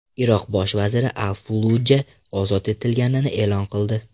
Iroq bosh vaziri Al-Falluja ozod etilganini e’lon qildi.